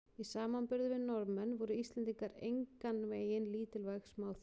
Í samanburði við Norðmenn voru Íslendingar engan veginn lítilvæg smáþjóð.